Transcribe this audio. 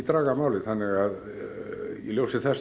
í ljósi þess